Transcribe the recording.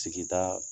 Sigida